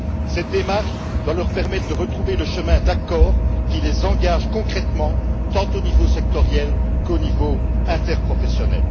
Cette démarche doit leur permettre de retrouver le chemin d'accords qui les engagent concrètement, tant au niveau sectoriel qu'au niveau interprofessionnel.